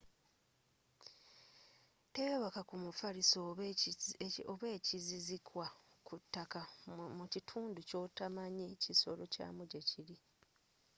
tewebaka ku mufaliso oba ekyezizikwa ku ttaka mu kitundu kyotamanyi kisolo kyamu gyekiri